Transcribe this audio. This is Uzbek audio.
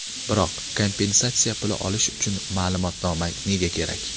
Biroq, kompensatsiya puli olish uchun ma’lumotnoma nega kerak?